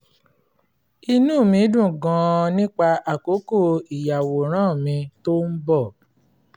inú mi dùn gan-an nípa àkókò ìyàwòrán mi tó ń bọ̀